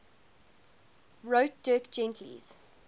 wrote dirk gently's